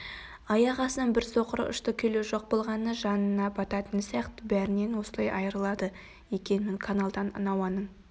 аяқ астынан бір соқыры ұшты-күйлі жоқ болғаны жанына бататын сияқты бәрінен осылай айрылады екенмін каналдан науаның